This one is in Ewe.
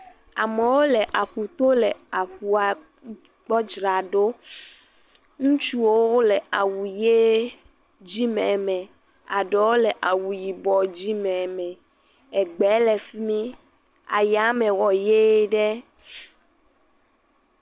Amewo le aƒuto le aƒua gbɔ dzra ɖo. Ŋutsuwo le awu yee dzime me. Aɖewo le awu yibɔɔ dzime me. egbɛɛ le fi mi. Ayame wɔ yee ɖe.